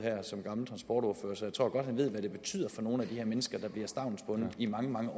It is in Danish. som gammel transportordfører så jeg tror godt han ved hvad det betyder for nogle af de her mennesker der bliver stavnsbundet i mange